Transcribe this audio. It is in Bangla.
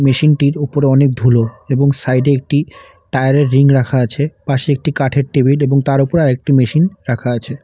মেশিনটির ওপরে অনেক ধুলো এবং সাইডে একটি টায়ারের রিং রাখা আছে পাশে একটি কাঠের টেবিল এবং তার ওপরে আরেকটি মেশিন রাখা আছে।